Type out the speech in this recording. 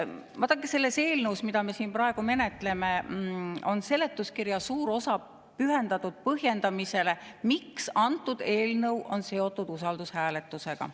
Vaadake, selles eelnõus, mida me siin praegu menetleme, on seletuskirja suur osa pühendatud põhjendamisele, miks antud eelnõu on seotud usaldushääletusega.